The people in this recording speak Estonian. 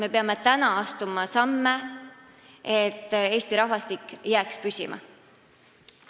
Me peame praegu astuma samme selleks, et Eesti rahvastik jääks püsima.